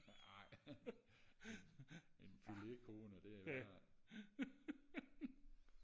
ej en en filet kone det er værre